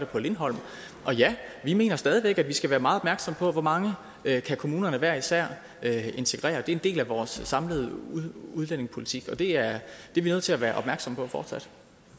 på lindholm og ja vi mener stadig væk at vi skal være meget opmærksomme på hvor mange kommunerne hver især kan integrere det er en del af vores samlede udlændingepolitik det er vi nødt til at være opmærksomme på fortsat